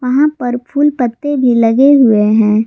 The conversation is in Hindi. वहां पर फूल पत्ते भी लगे हुए है।